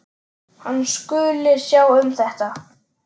Hann skuli sjá um þetta.